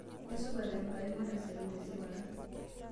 Aisupat Enkai, mateserem tesipata.